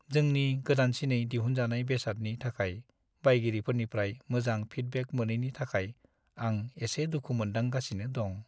जोंनि गोदानसिनै दिहुनजानाय बेसादनि थाखाय बायगिरिफोरनिफ्राय मोजां फिडबेक मोनैनि थाखाय आं एसे दुखु मोनदांगासिनो दं।